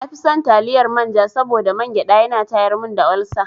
Na fi son taliyar manja saboda mangyaɗa ya na tayar mun da olsa.